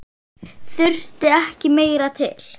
Þurfti ekki meira til.